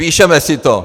Píšeme si to.